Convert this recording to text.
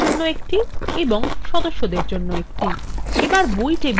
আমাদের বই টেবিলটি বিষদভাবে দেখা যাক